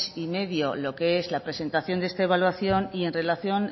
y medio lo que es la presentación de esta evaluación y en relación